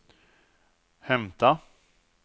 hämta